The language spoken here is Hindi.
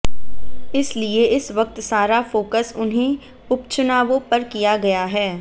इसलिए इस वक्त सारा फोकस उन्हीं उपचुनावांे पर किया गया है